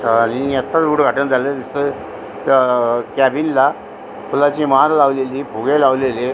आणि आताच उदघाटन झालेलं दिसतंय अ क्याबीन ला फुलाची माळ लावलेली फुगे लावालेलेय.